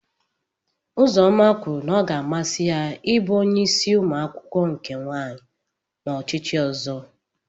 Uzoma kwuru na ọ ga-amasị ya ịbụ onye isi umuakwukwo nke nwanyị n'ochichi ozo.